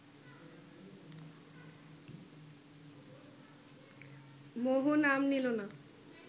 মোহন আম নিল না